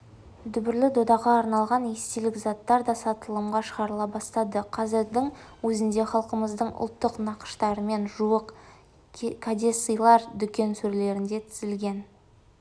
дүбірлі додаға арналған естелік заттар да сатылымға шығарыла бастады қазірдің өзінде халқымыздың ұлттық нақыштарымен жуық кәдесыйлар дүкен сөрелеріне тізілген